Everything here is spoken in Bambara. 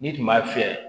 N'i tun b'a fiyɛ